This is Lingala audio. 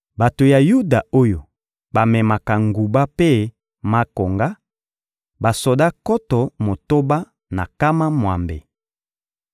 Bato ya Yuda oyo bamemaka nguba mpe makonga: basoda nkoto motoba na nkama mwambe;